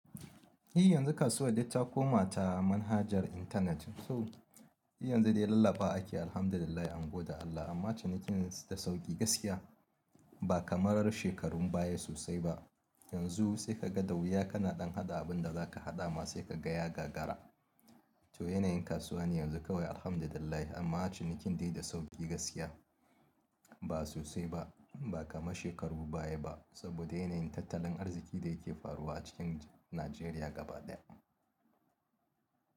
I yanzu kasuwan dai ta koma ta manhajar intanet. So e yanzu dai lallabawa ake yi Alhamdulillahi an goda Allah amma cinikin da sauki gaskiya ba kamarar shekarun baya sosai ba. Yanzu sai ka ga ɗa wuya kana ɗan haɗa abin da za ka haɗa ma sai ka ga ya gagara. To yanayin kasuwa ne yanzu kawai alhamdulillahi amma cinikin dai da sauki gaskiya ba sosai ba ba kamar shekarun baya ba saboda yanayin tattalin arziki da yake faruwa cikin Najeriya gaba ɗaya.